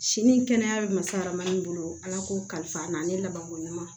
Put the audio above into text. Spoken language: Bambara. Sini ni kɛnɛya bɛ masala manden bolo ala ko kalifa n'a ne laban ko ɲuman